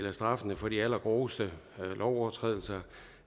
af straffene for de allergroveste overtrædelser